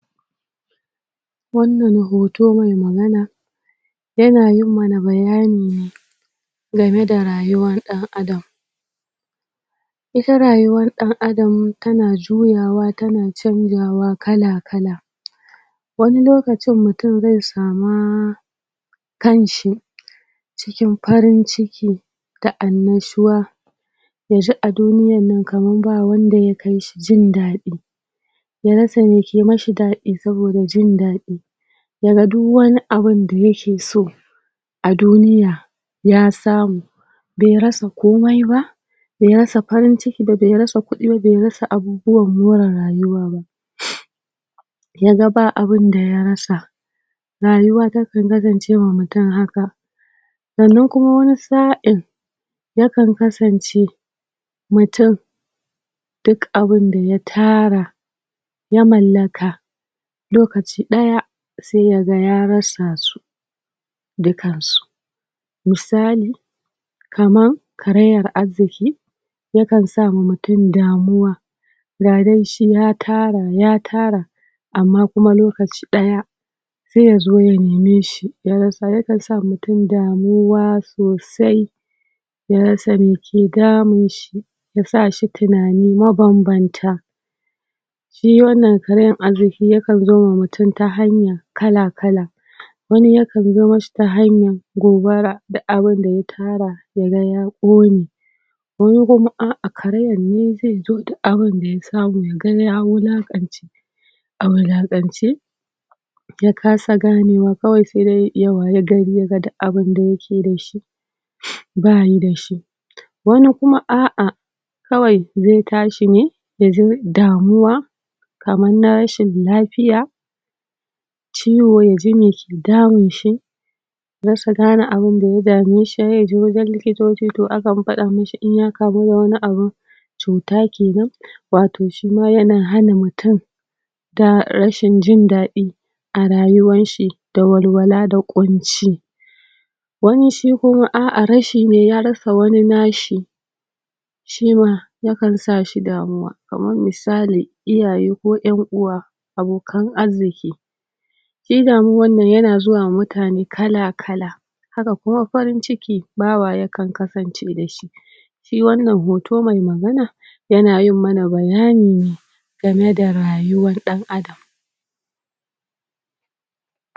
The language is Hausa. Wannan hoto me magana yana yin mana bayani ne game da rayuwan ɗan adam ita rayuwan ɗan adam tana juyawa tana canjawa kala-kala wani lokacin mutum ze sama kan shi cikin farin ciki da annashuwa yaji a duniyan nan kaman ba wanda ya kai shi jin daɗi ya rasa meke mashi daɗi saboda jin daɗi yaga duk wani abunda yake so a duniya ya samu be rasa komai ba be rasa farin ciki ba be rasa kuɗi ba be rasa abubuwan more rayuwa ba yaga ba abunda ya rasa rayuwa takan kasance wa mutum haka sannan kuma wani saʼin yakan kasance mutun duk abunda ya tara ya mallaka lokacin ɗaya sai yaga ya rasa su dukan su misali kaman karayan arziki yakan sama mutun damuwa ga dai shi ya tara ya tara amma kuma lokaci ɗaya se yazo ya neme shi ya rasa ya kan sa mutun damuwa sosai ya rasa meke damun shi yasa shi tunani mabanbanta shi wannan karayan arziki yakan zowa mutum ta hanya kala-kala wani ya kan zo mashi ta hanyan gobara duk abunda ya tara ya ga ya ƙone wani kuma a'a karayan ne ze zo duk abunda ya samu yaga ya wulaƙance a wulaƙance ya kasa ganewa kawai sai dai ya wayi gari yaga duk abunda yake da shi bayi da shi wani kuma aa kawai ze tashi ne yaji damuwa kaman na rashin lafiya ciwo yaji me ke damun shi rasa gane abunda ya dame shi sai ya je wajen likitoci to akan faɗa mishi inya kamu da wani abun cuta kenan wato shima yana hana mutun ta rashin jin daɗi a rayuwan shi da walwala da ƙunci wani shi kuma a'a rashi ne ya rasa wani nashi shima ya kan sashi damuwa kamar misali iyaye ko ƴan uwa abokan arziki shi damuwanan nan yana zuwa ma mutane kala-kala haka kuma farin ciki bawa yabkan kasance da shi shi wannan hoto mai magana yana yin mana bayani ne game da rayuwar ɗan adam